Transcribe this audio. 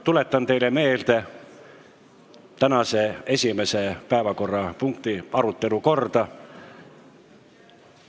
Tuletan teile meelde tänase esimese päevakorrapunkti arutelu korda.